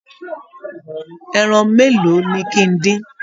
Ẹran mélòó ni kí ń dín?